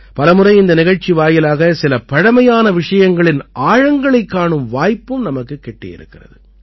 பலமுறை இந்த நிகழ்ச்சி வாயிலாக சில பழைமையான விஷயங்களின் ஆழங்களைக் காணும் வாய்ப்பும் நமக்குக் கிட்டியிருக்கிறது